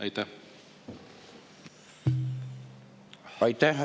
Aitäh!